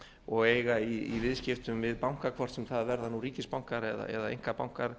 og eiga í viðskiptum við banka hvort sem það verða ríkisbankar eða einkabankar